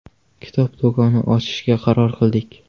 Kitob do‘koni ochishga qaror qildik.